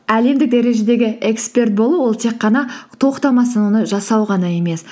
әлемдік дәрежедегі эксперт болу ол тек қана тоқтамастан оны жасау ғана емес